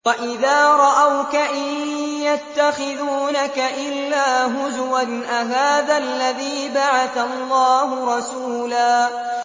وَإِذَا رَأَوْكَ إِن يَتَّخِذُونَكَ إِلَّا هُزُوًا أَهَٰذَا الَّذِي بَعَثَ اللَّهُ رَسُولًا